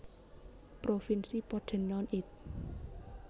Provinsi Pordenone It